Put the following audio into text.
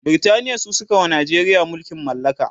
Britaniya su sukawa Najeriya mulkin mallaka